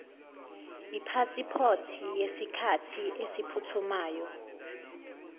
ipasipoti yesikhathi esiphuthumayo